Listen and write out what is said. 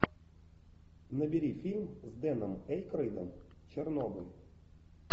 набери фильм с дэном эйкройдом чернобыль